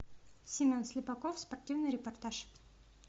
семен слепаков спортивный репортаж